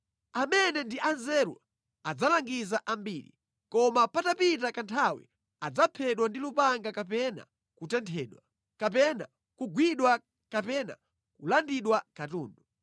“Amene ndi anzeru adzalangiza ambiri. Koma patapita kanthawi adzaphedwa ndi lupanga kapena kutenthedwa, kapena kugwidwa kapena kulandidwa katundu.